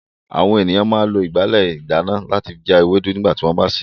Àwọn ènìyàn máa ń lo ìgbálẹ̀ ìdáná láti fi já ewé ewédú nígbà tí wọ́n bá ń sè é.